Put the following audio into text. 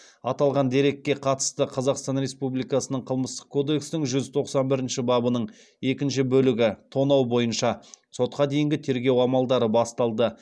аталған дерекке қатысты қазақстан республикасының қылмыстық кодекстің жүз тоқсан бірінші бабының екінші бөлігі бойынша сотқа дейінгі тергеу амалдары басталды